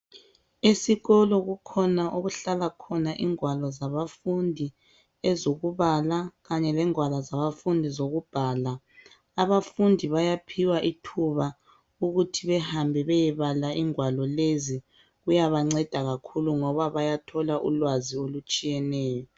Esikolo kukhona okuhlala khona ingwalo zabafundi, ezokubala kanye lengwalo zabafundi ezokubhala. Abafundi bayaphiwa ithuba ukuthi behambe beyebala ingwalo lezi kuyabanceda kakhulu ngoba bayathola ulwazi olutshiyeneyo.